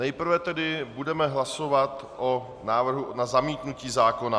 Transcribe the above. Nejprve tedy budeme hlasovat o návrhu na zamítnutí zákona.